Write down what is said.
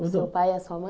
O seu pai e a sua mãe?